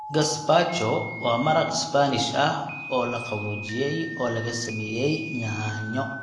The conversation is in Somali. Gazpacho waa maraq Isbaanish ah oo la qaboojiyey oo lagu sameeyay yaanyo.